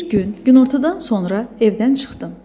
Bir gün günortadan sonra evdən çıxdım.